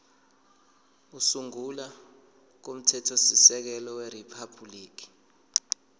kokusungula komthethosisekelo weriphabhuliki